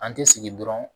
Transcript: An tɛ sigi dɔrɔn